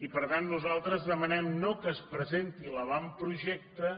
i per tant nosaltres demanem no que es presenti l’avantprojecte